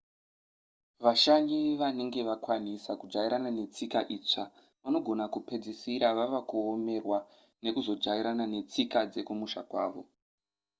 vashanyi vanenge vakwanisa kujairana netsika itsva vanogona kupedzisira vava kuomerwa nekuzojairana netsika dzekumusha kwavo